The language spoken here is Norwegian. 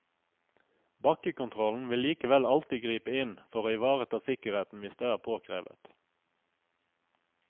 Bakkekontrollen vil likevel alltid gripe inn for å ivareta sikkerheten hvis det er påkrevet.